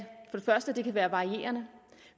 første kan være varierende